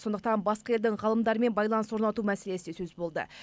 сондықтан басқа елдің ғалымдарымен байланыс орнату мәселесі сөз болды